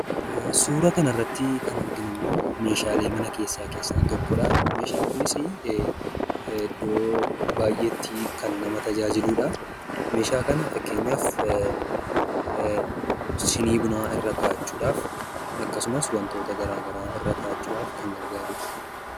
Suuraa kanarratti kan arginummoo, meeshaalee mana keessaa tokkodha. Meeshaan kunis, iddoo baayyeetti kan nama tajaajiludha. Meeshaa kana fakkeenyaaf sinii bunaa irra kaawwachuudhaaf, akkasumas wantoota garagaraa irra kaawwachuudhaaf kan gargaarudha.